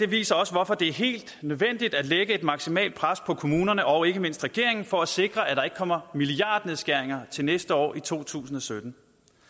viser også hvorfor det er helt nødvendigt at lægge et maksimalt pres på kommunerne og ikke mindst regeringen for at sikre at der ikke kommer milliardnedskæringer til næste år i to tusind og sytten